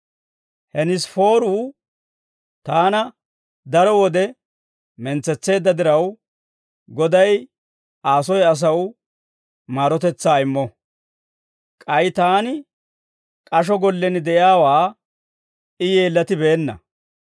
Henesifooru taana daro wode mentsetseedda diraw, Goday Aa soy asaw maarotetsaa immo. K'ay taani k'asho gollen de'iyaawaa I yeellatibeenna.